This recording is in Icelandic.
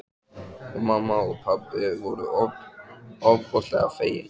Og mamma og pabbi voru ofboðslega fegin.